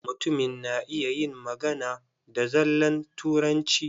Mutumin na iya yin magana da zallan Turanci.